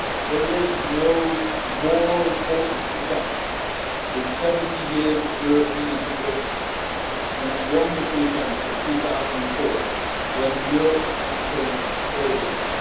There is no more important event in 70 years of European integration than that wonderful event in 2004 when Europe became whole again.